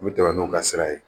U bɛ tɛmɛ n'u ka sira ye